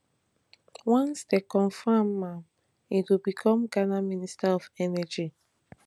once dem confam am e go become ghana minister of energy